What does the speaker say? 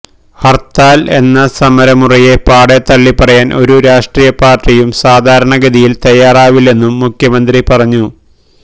ഹര്ത്താല് എന്ന സമരമുറയെ പാടെ തള്ളിപ്പറയാന് ഒരു രാഷ്ട്രീയപാര്ട്ടിയും സാധാരണഗതിയില് തയ്യാറാവില്ലെന്നും മുഖ്യമന്ത്രി പറഞ്ഞു